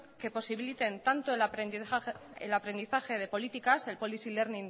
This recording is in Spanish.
que posibiliten tanto el aprendizaje de políticas el policy learning